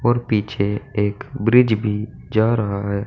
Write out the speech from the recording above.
पीछे एक ब्रिज भी जा रहा है।